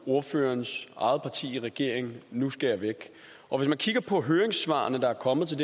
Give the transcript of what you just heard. ordførerens eget parti i regering nu skære væk og hvis vi kigger på de høringssvar der er kommet til